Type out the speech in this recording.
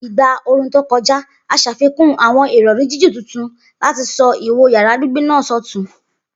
Igba ooru to kọja, a ṣafikun awọn irọri jiju tuntun lati sọ iwo yara gbigbe naa sọtun.